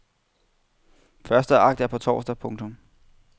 Første akt er på torsdag. punktum